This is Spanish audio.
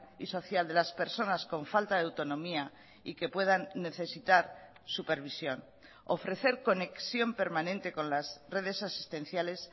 y social de las personas con falta de autonomía y que puedan necesitar supervisión ofrecer conexión permanente con las redes asistenciales